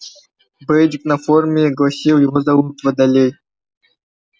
бейджик на форме гласил его зовут володей